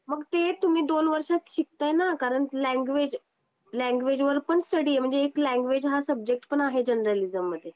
मग ते तुम्ही दोन वर्षात शिकताना कारण लैंग्वेज लैंग्वेज वर पण स्टडी आहे म्हणजे इथे लैंग्वेज हा पण आहे जर्नलिझम मध्ये